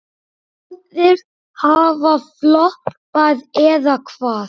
Báðir hafa floppað, eða hvað?